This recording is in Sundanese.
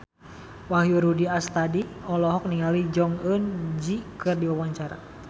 Wahyu Rudi Astadi olohok ningali Jong Eun Ji keur diwawancara